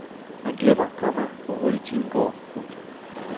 Man glemmer, komma hvor hurtigt tiden går. punktum